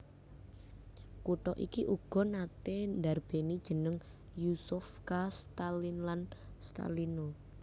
Kutha iki uga naté ndarbèni jeneng Yuzovka Staline lan Stalino